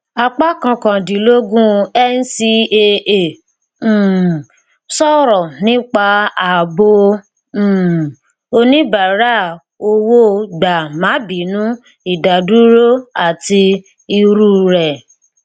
apá kọkàndínlógún ncaa um sọrọ nípa ààbò um oníbàárà owó gbà má bínú ìdádúró àti ìrú rẹ